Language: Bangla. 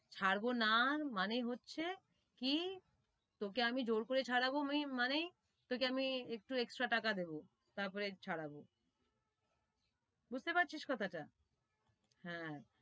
ছাড়বো না মানে হচ্ছে, কি তোকে আমি জোর করে ছাড়াবো মানে তোকে আমি একটু extra টাকা দেবো, তার পরে ছাড়াবো বুঝতে পারছিস কথা টা, হেঁ,